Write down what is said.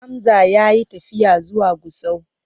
Hamza ya yi tafiya zuwa Gusau.